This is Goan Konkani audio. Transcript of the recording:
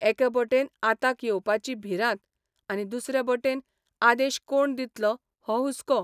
एके बटेन आताक येवपाची भिरांत आनी दुसरे बटेन आदेश कोण दितलो हो हुस्को.